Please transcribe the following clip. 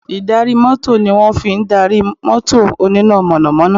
Ì̀darí mọ́tò ni wọ́n fi darí mọ́tò oníná mọ̀nàmọ́ná